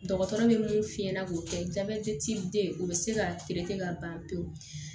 Dɔgɔtɔrɔ bɛ mun f'i ɲɛna k'o kɛ jabɛti den o bɛ se ka ka ban pewu